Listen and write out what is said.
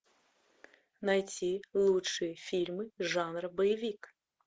найти лучшие фильмы жанра боевик